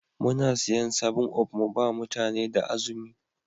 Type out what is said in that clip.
Muna siyan 7up mu ba mutane da azumi.